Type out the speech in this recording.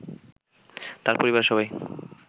তার পরিবারের সবাই